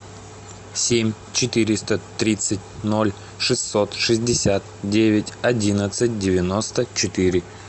семь четыреста тридцать ноль шестьсот шестьдесят девять одиннадцать девяносто четыре